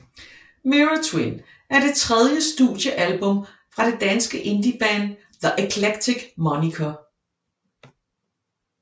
Mirror Twin er det tredje studiealbum fra det danske indieband The Eclectic Moniker